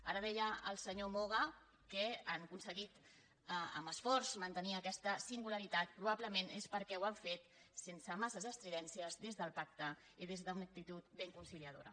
ara deia el senyor moga que han aconseguit amb esforç mantenir aquesta singularitat probablement és perquè ho han fet sense massa estridències des del pacte i des d’una actitud ben conciliadora